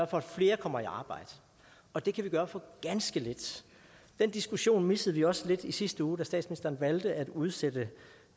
for at flere kommer i arbejde og det kan vi gøre for ganske lidt den diskussion missede vi også lidt i sidste uge da statsministeren valgte at udsætte